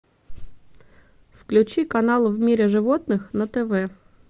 включи канал в мире животных на тв